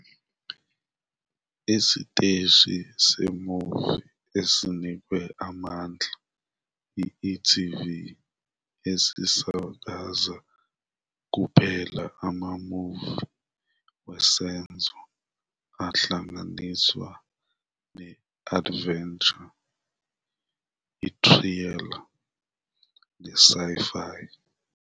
Isiteshi se-movie esinikwe amandla yi-e.tv esisakaza kuphela ama-movie wesenzo ahlanganiswe ne-adventure, i-thriller ne-sci-fi.